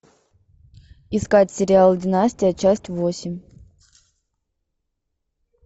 искать сериал династия часть восемь